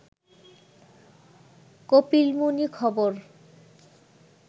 কপিলমুনি খবর